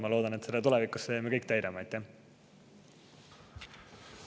Ma loodan, et tulevikus me kõik täidame.